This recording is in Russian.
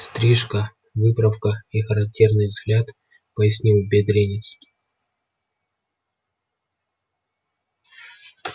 стрижка выправка и характерный взгляд пояснил бедренец